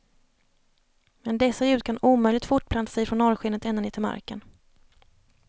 Men dessa ljud kan omöjligt fortplanta sig från norrskenet ända ner till marken.